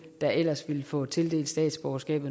der ellers ville få tildelt statsborgerskab